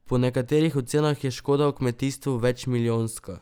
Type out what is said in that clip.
Po nekaterih ocenah je škoda v kmetijstvu večmilijonska.